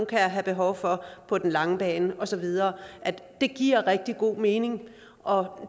kan have behov for på den lange bane og så videre det giver rigtig god mening og